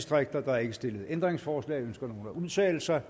der er ikke stillet ændringsforslag ønsker nogen at udtale sig